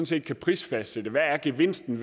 set kan prisfastsætte hvad gevinsten